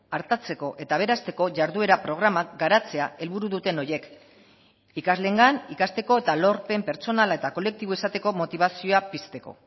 artatzeko eta aberasteko jarduera programak garatzea helburu duten horiek ikasleengan ikasteko eta lorpen pertsonala eta kolektibo izateko motibazioa pizteko